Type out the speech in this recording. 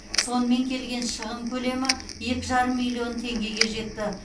сонымен келген шығын көлемі екі жарым миллион теңгеге жетті